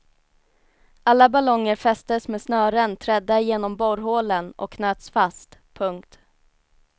Alla ballonger fästes med snören trädda igenom borrhålen och knöts fast. punkt